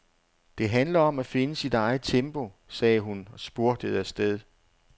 Det handler om at finde sit eget tempo, sagde hun og spurtede afsted.